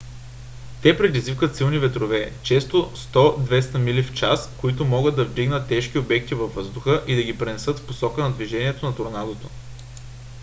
те предизвикват силни ветрове често 100 – 200 мили/час които могат да вдигнат тежки обекти във въздуха и да ги пренесат в посока на движението на торнадото